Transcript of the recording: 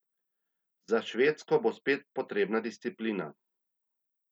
Za Švedsko bo spet potrebna disciplina.